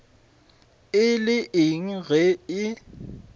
e le eng ge e